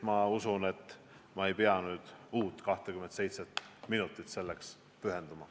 Ma usun, et ma ei pea uut 27 minutit sellele pühendama.